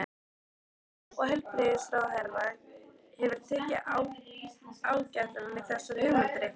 Lára: Og heilbrigðisráðherra hefur tekið ágætlega í þessar hugmyndir ykkar?